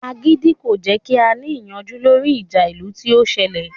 Agídí kò jẹ́ kí a ní ìyanjú lórí ìjà ìlú tí ó ń sẹlẹ̀ lẹ